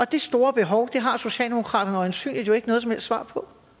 det store behov har socialdemokraterne jo øjensynlig ikke noget som helst svar på